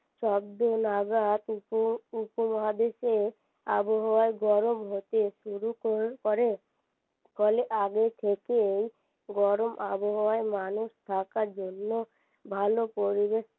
শব্দ নাগাদ উপ~উপমহাদেশে আবহাওয়া গরম হতে শুরু কর~করে ফলে আগে থেকেই গরম আবহাওয়ায় মানুষ থাকার জন্য ভালো পরিবেশ